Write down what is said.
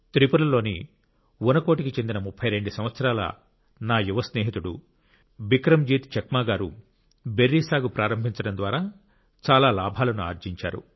త్రిపురలోని ఉనకోటికి చెందిన 32 సంవత్సరాల నా యువ స్నేహితుడు బిక్రమ్ జీత్ చక్మా గారు బెర్రీ సాగు ప్రారంభించడం ద్వారా చాలా లాభాలను ఆర్జించారు